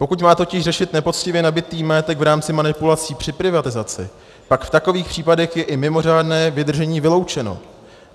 Pokud má totiž řešit nepoctivě nabytý majetek v rámci manipulací při privatizaci, pak v takových případech je i mimořádné vydržení vyloučeno.